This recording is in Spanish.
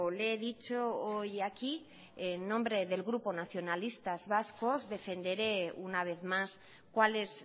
le he dicho hoy aquí en nombre del grupo nacionalistas vascos defenderé una vez más cuál es